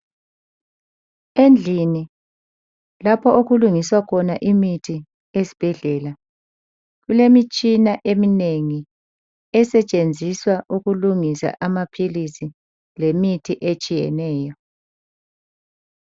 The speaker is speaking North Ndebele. Endlini lapho okulungiswa khona emithi esibhedlela kulemitshina eminengi esetshenziswa ukulungisa amaphilili lemithi etshiyeneyo.